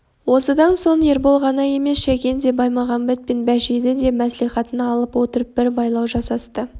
осыдан соң ербол ғана емес шәкен де баймағамбет пен бәшейді де мәслихатына алып отырып бір байлау жасасты